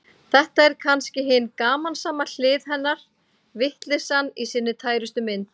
Þetta er kannski hin gamansama hlið hennar, vitleysan í sinni tærustu mynd.